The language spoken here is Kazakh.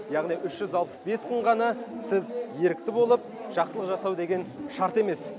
яғни үш жүз алпыс бес күн ғана сіз ерікті болып жақсылық жасау деген шарт емес